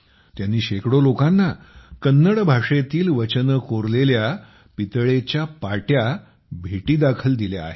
त्यांनी शेकडो लोकांना कन्नड भाषेतील वचने कोरलेल्या पितळेच्या ताटल्या भेटीदाखल दिल्या आहेत